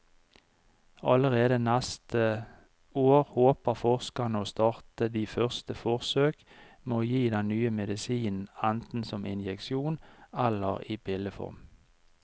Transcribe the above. Allerede neste år håper forskerne å starte de første forsøk med å gi den nye medisinen enten som injeksjon eller i pilleform.